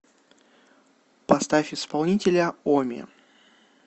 поставь исполнителя оми